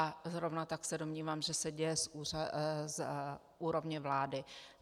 A zrovna tak se domnívám, že se děje z úrovně vlády.